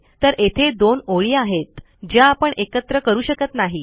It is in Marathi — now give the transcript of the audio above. तर येथे दोन ओळी आहेत ज्या आपण एकत्र करू शकत नाही